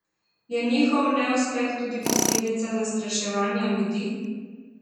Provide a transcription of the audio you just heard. Je njihov neuspeh tudi posledica zastraševanja ljudi?